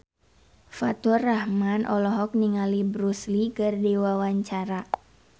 Faturrahman olohok ningali Bruce Lee keur diwawancara